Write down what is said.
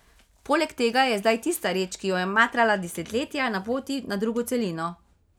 Poleg tega je zdaj tista reč, ki jo je matrala desetletja, na poti na drugo celino.